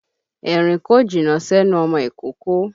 Èrín kò jìnnà sẹ́nu ọmọ ìkókó.